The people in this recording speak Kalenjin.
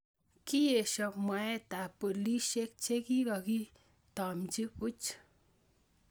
Kieesyo mwaeetab boliisyekchekiikakiy taamchi buch